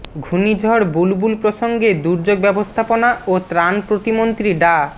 ঘূর্ণিঝড় বুলবুল প্রসঙ্গে দুর্যোগ ব্যবস্থাপনা ও ত্রাণ প্রতিমন্ত্রী ডা